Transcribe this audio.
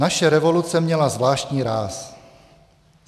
"Naše revoluce měla zvláštní ráz.